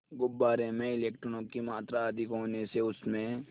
गुब्बारे में इलेक्ट्रॉनों की मात्रा अधिक होने से उसमें